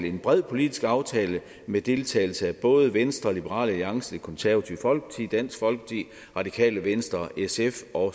en bred politisk aftale med deltagelse af både venstre liberal alliance det konservative folkeparti dansk folkeparti radikale venstre sf og